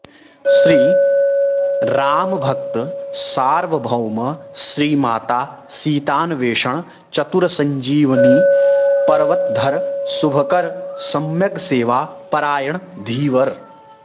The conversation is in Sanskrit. श्रीरामभक्त सार्वभौम श्रीमाता सीतान्वेषण चतुर सञ्जीविनी पर्वतधर शुभकर सम्यग्सेवा परायण धीवर